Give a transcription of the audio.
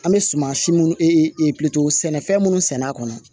An bɛ suman si munnu e e e e pitɔro sɛnɛ fɛn minnu sɛnɛ a kɔnɔ